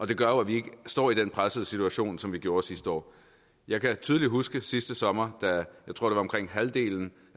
det gør jo at vi ikke står i den pressede situation som vi gjorde sidste år jeg kan tydeligt huske sidste sommer da jeg tror omkring halvdelen